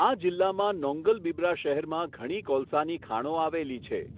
આ જિલ્લામાં નોન્ગલબિબ્રા શહેરમાં ઘણી કોલસાની ખાણો આવેલી છે.